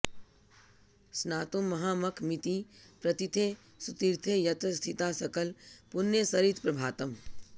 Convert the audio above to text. स्नातुं महामखमिति प्रतिथे सुतीर्थे यत्र स्थिता सकल पुण्यसरित् प्रभातम्